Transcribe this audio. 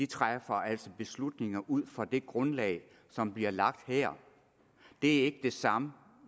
træffer beslutninger ud fra det grundlag som bliver lagt her det er ikke det samme